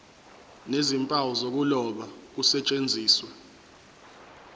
nezimpawu zokuloba kusetshenziswe